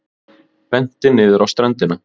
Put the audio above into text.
Benti niður á ströndina.